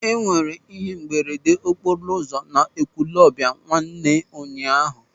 E nwere ihe mberede okporo ụzọ n'Ekwulọbịa nwanne ụnyaahụ.